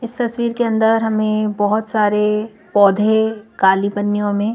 इस तस्वीर के अंदर हमें बहुत सारे पौधे काली पन्नियों में--